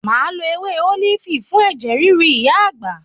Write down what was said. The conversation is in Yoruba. Máa lọ ewé ólífì fún ẹ̀jẹ̀ ríru ìyá àgbà.